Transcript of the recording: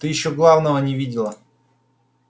ты ещё главного не видела